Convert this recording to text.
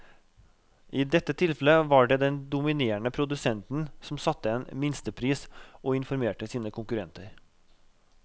I dette tilfellet var det den dominerende produsenten som satte en minstepris og informerte sine konkurrenter.